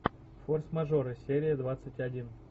форс мажоры серия двадцать один